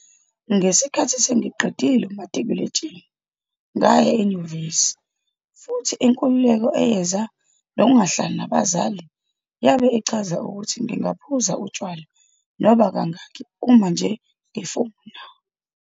"Ngesikhathi sengiqedile umatikuletsheni, ngaya enyuvesi futhi inkululeko eyeza nokungahlali nabazali yabe ichaza ukuthi ngingaphuza utshwala noma kangaki uma nje ngifuna."